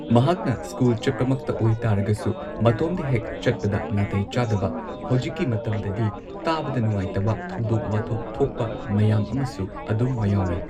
ꯃꯍꯥꯛꯅ ꯁ꯭ꯀꯨꯜ ꯆꯠꯄꯃꯛꯇ ꯑꯣꯏ ꯇꯥꯔꯒꯁꯨ ꯃꯇꯣꯝꯗ ꯍꯦꯛ ꯆꯠꯄꯗ ꯅꯥꯇꯩ ꯆꯥꯗꯕ ꯍꯧꯖꯤꯛꯀꯤ ꯃꯇꯝꯗꯗꯤ ꯇꯥꯕꯗ ꯅꯨꯡꯉꯥꯏꯇꯕ ꯊꯧꯗꯣꯛ ꯋꯥꯊꯣꯛ ꯊꯣꯛꯄ ꯃꯌꯥꯝ ꯑꯃꯁꯨ ꯑꯗꯨꯝ ꯃꯌꯥꯎꯏ